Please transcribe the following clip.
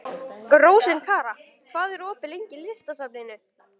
Rósinkara, hvað er opið lengi í Listasafninu?